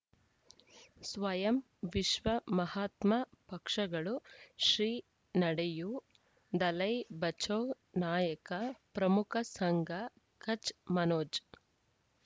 ಸ್ವಯಂ ವಿಶ್ವ ಮಹಾತ್ಮ ಪಕ್ಷಗಳು ಶ್ರೀ ನಡೆಯೂ ದಲೈ ಬಚೌ ನಾಯಕ ಪ್ರಮುಖ ಸಂಘ ಕಚ್ ಮನೋಜ್